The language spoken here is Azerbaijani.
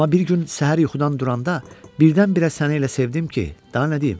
Amma bir gün səhər yuxudan duranda birdən-birə səni elə sevdim ki, daha nə deyim?